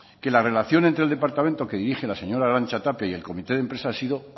que la relación entre el departamento que dirige la señora arantza tapia y el comité de empresa ha sido